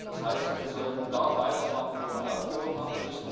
Das heißt, wir sollten da weitermachen, wo wir aufgehört haben.